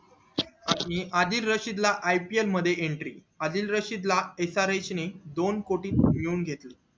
आदिल रशीद ला ipl मध्ये entry Adil Rashid ला srs दोन कोटी त उचलून घेतले